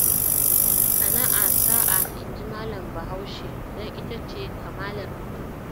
Sana'a sa'a inji Malam Bahaushe don ita ce kamalar mutum